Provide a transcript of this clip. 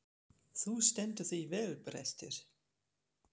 Þú stendur þig vel, Brestir!